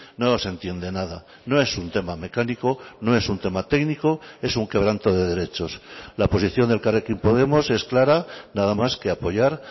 no se entiende nada no es un tema mecánico no es un tema técnico es un quebranto de derechos la posición de elkarrekin podemos es clara nada más que apoyar